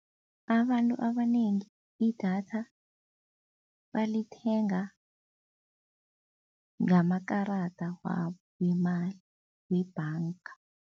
Abantu abanengi idatha balithenga ngamakarada wabo wemali webhanga.